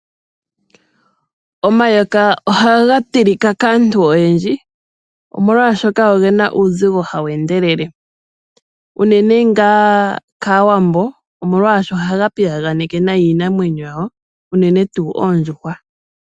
Omayoka ohaga tilika kaantu oyendji omolwaashoka ogena uuzigo hawu endelele. Uunene ngaa kaawambo omwaashi ohaga piyaganeke nayi iinamwenyo yawo unene tuu ondjuhwa.